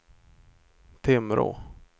Timrå